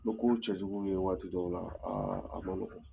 N bɛ ko cɛjugu dɔw ye waati dɔw la aa a bɛ